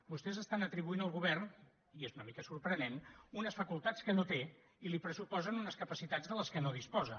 vostès estan atribuint al govern i és una mica sorprenent unes facultats que no té i li pressuposen unes capacitats de les quals no disposa